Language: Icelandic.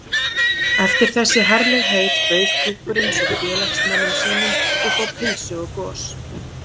Eftir þessi herlegheit bauð klúbburinn svo félagsmönnum sínum upp á pylsu og gos.